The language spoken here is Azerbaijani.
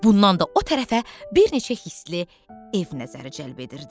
Bundan da o tərəfə bir neçə hisli ev nəzəri cəlb edirdi.